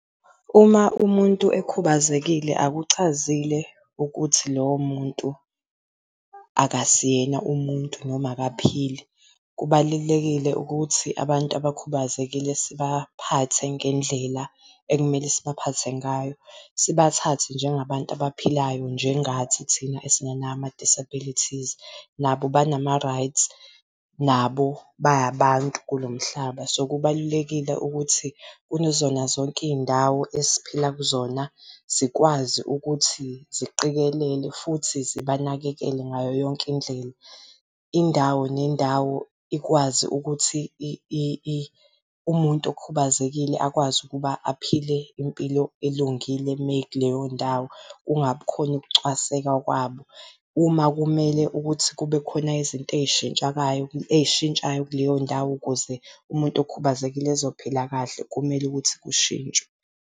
Uma umuntu ekhubazekile, akuchazile ukuthi lowo muntu akasiyena umuntu noma akaphili. Kubalulekile ukuthi abantu abakhubazekile sibaphathe ngendlela ekumele sibaphathe ngayo. Sibathathe njengabantu abaphilayo njengathi thina esingenawo ama-disabilities. Nabo banama-rights, nabo ba abantu kulo mhlaba, so kubalulekile ukuthi kuzona zonke iy'ndawo esiphila kuzona zikwazi ukuthi ziqikelele futhi zibanakekele ngayo yonke indlela. Indawo nendawo ikwazi ukuthi umuntu okhubazekile akwazi ukuba aphile impilo elungile meyekuleyo ndawo, kungabi khona ukucwaseka kwabo. Uma kumele ukuthi kube khona izinto ey'shintshayo kuleyo ndawo ukuze umuntu okhubazekile ezophila kahle, kumele ukuthi kushintshwe.